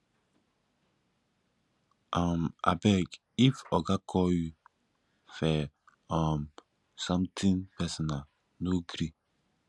um abeg if oga call you fir um something personal no gree